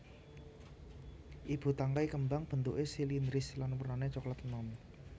Ibu tangkai kembang bentuké silindris lan wernané coklat enom